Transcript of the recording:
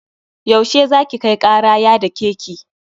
Yau she za ki kai kara ya dake ki?